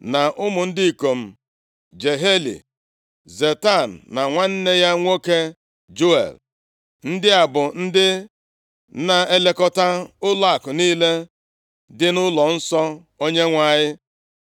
na ụmụ ndị ikom Jehieli, Zetam na nwanne ya nwoke Juel. Ndị a bụ ndị na-elekọta ụlọakụ niile dị nʼụlọnsọ Onyenwe anyị.